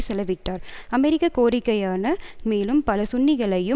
செலவிட்டார் அமெரிக்க கோரிக்கையான மேலும் பல சுன்னிகளையும்